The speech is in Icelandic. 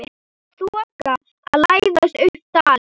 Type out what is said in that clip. Þoka að læðast upp dalinn.